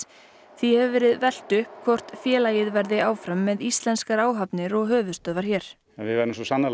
því hefur verið velt upp hvort félagið verði áfram með íslenskar áhafnir og höfuðstöðvar hér við verðum svo sannarlega